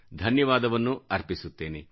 ಧನ್ಯವಾದವನ್ನೂ ಅರ್ಪಿಸುತ್ತೇನೆ